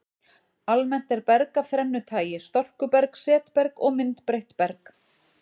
Almennt er berg af þrennu tagi, storkuberg, setberg og myndbreytt berg.